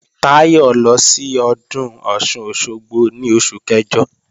Táyọ̀ lọ sí Ọdún Ọ̀sun-Òsogbo ní oṣù kẹjọ